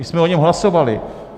My jsme o něm hlasovali.